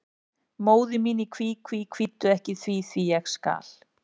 Móðir mín í kví, kví, kvíddu ekki því, því, ég skal.